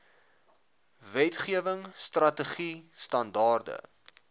wetgewing strategied standaarde